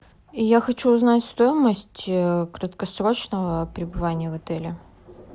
я хочу узнать стоимость краткосрочного пребывания в отеле